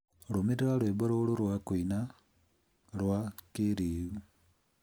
Rũmĩrĩra rwĩmbo rũrũ rwa kũina rwa kĩĩrĩu.